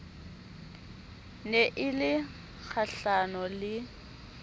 ne e le kgahlano le